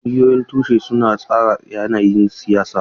Ƙungiyoyin tushe suna tsara yanayin siyasa.